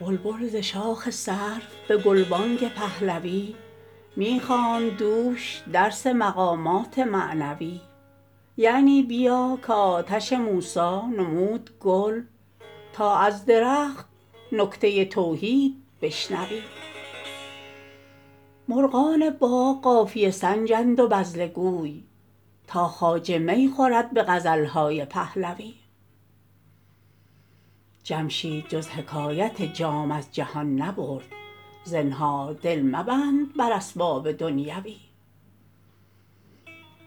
بلبل ز شاخ سرو به گلبانگ پهلوی می خواند دوش درس مقامات معنوی یعنی بیا که آتش موسی نمود گل تا از درخت نکته توحید بشنوی مرغان باغ قافیه سنجند و بذله گوی تا خواجه می خورد به غزل های پهلوی جمشید جز حکایت جام از جهان نبرد زنهار دل مبند بر اسباب دنیوی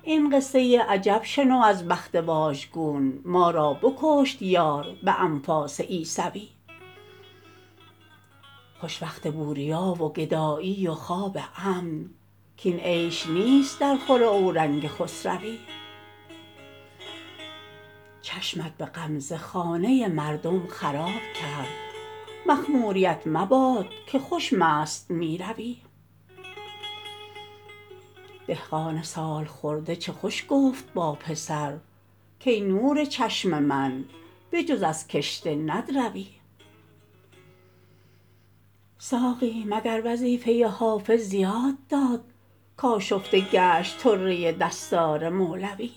این قصه عجب شنو از بخت واژگون ما را بکشت یار به انفاس عیسوی خوش وقت بوریا و گدایی و خواب امن کاین عیش نیست درخور اورنگ خسروی چشمت به غمزه خانه مردم خراب کرد مخموریـت مباد که خوش مست می روی دهقان سال خورده چه خوش گفت با پسر کای نور چشم من به جز از کشته ندروی ساقی مگر وظیفه حافظ زیاده داد کآشفته گشت طره دستار مولوی